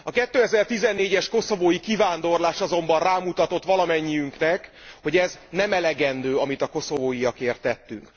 A 2014 es koszovói kivándorlás azonban rámutatott valamennyiünknek, hogy ez nem elegendő, amit a koszovóiakért tettünk.